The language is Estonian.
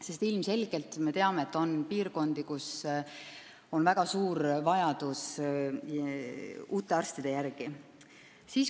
Sest ilmselgelt on meil piirkondi, kus on väga suur vajadus uute arstide järele.